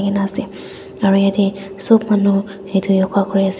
ena ase aro yathe sob manu etu yoga kure ase.